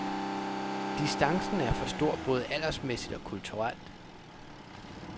Distancen er for stor både aldersmæssigt og kulturelt.